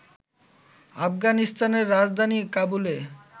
আফগানিস্তানের রাজধানী কাবুলে